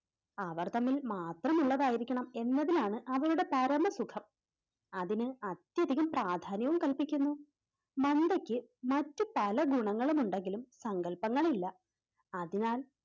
അവർ തമ്മിൽ മാത്രമുള്ളതായിരിക്കണം എന്നതിലാണ് അവളുടെ പരമ സുഖം അതിന് അത്യതികം പ്രാധാന്യവും കൽപ്പിക്കുന്നു മാന്തയ്ക്ക് മറ്റു പല ഗുണങ്ങളുമുണ്ടെങ്കിലും സങ്കല്പങ്ങളില്ല അതിനാൽ